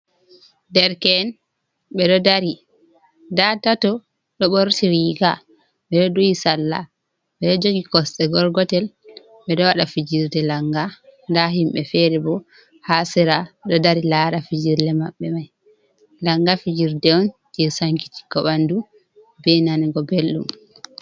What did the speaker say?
Dereke'en ɓe ɗo dari nda tato ɗo ɓorti riga, ɓe ɗo duhi salla ɓe ɗo joogi kosɗe gorgotel, ɓe ɗo waɗa fijirde langa, nda himɓe feere bo ha sera ɗo dari lara fijirle maɓɓe mai, langa fijirde on je sankitikgo ɓandu be nango belɗum.